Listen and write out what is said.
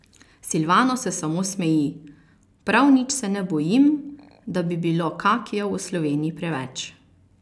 Silvano se samo smeji: 'Prav nič se ne bojim, da bi bilo kakijev v Sloveniji preveč.